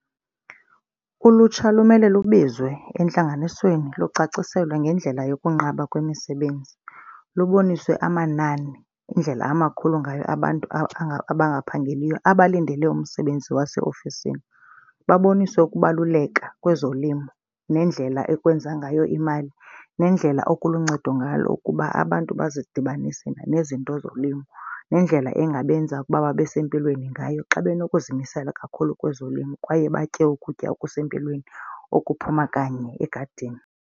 Ulutsha lumele lubizwe entlanganisweni lucaciselwa ngendlela yokunqaba kwemisebenzi. Luboniswe amanani, indlela amakhulu ngayo abantu abangaphangeliyo abalindele umsebenzi waseofisini. Baboniswe ukubaluleka kwezolimo nendlela ekwenziwa ngayo imali nendlela oku kuluncedo ngalo ukuba abantu bazidibanise nezinto zolimo nendlela ingabenza ukuba babe sempilweni ngayo xa benokuzimisela kakhulu kwezolimo kwaye batye ukutya okusempilweni okuphuma kanye egadini.